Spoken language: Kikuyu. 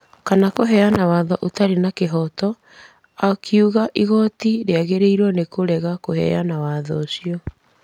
Kana kũheana watho ũtarĩ na kĩhooto…akiuga igooti rĩagĩrĩirwo nĩ kũrega kũheana watho ũcio.